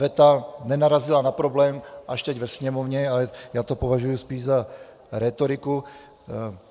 Veta nenarazila na problém, až teď ve Sněmovně, a já to považuji spíš za rétoriku.